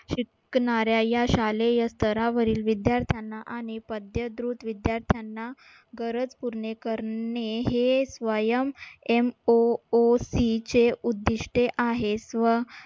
शिकणाऱ्या या शालेय स्तरावरील विद्यार्थ्यांना आणि विद्यार्थ्यांना गरज पुरणे करणे हे SWAYAMMOOC चे उद्दिष्टे आहेत. व